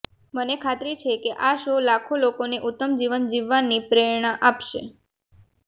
મને ખાતરી છે કે આ શો લાખો લોકોને ઉત્તમ જીવન જીવવાની પ્રેરણા આપશે